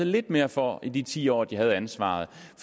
lidt mere for i de ti år de havde ansvaret